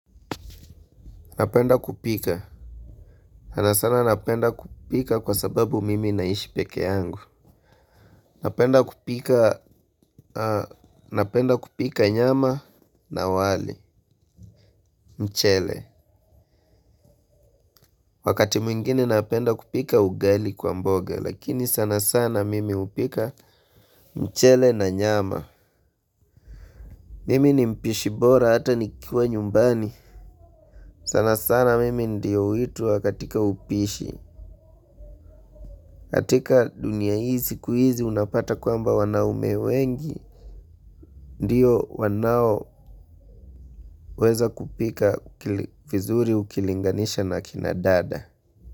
Napenda kupika, sanasana napenda kupika kwa sababu mimi naishi peke yangu. Napenda kupika napenda kupika nyama na wali mchele. Wakati mwingine napenda kupika ugali kwa mboga, lakini sana sana mimi hupika mchele na nyama. Mimi ni mpishi bora hata nikiwa nyumbani. Sanasana mimi ndio huitwa katika upishi. Katika dunia hii siku hizi unapata kwamba wanaume wengi ndio wanaoweza kupika vizuri ukilinganisha na kina dada.